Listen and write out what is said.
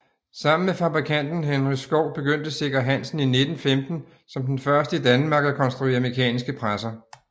Sammen med fabrikanten Henry Skov begyndte Sikker Hansen i 1915 som den første i Danmark at konstruere mekaniske presser